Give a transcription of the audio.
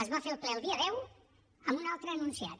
es va fer el ple el dia deu amb un altre enunciat